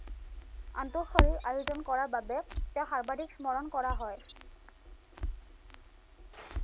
আনটো শাৰীৰ আয়োজন কৰা বাবে তেওঁক সৰ্বাধিক শ্মৰণ কৰা হয়।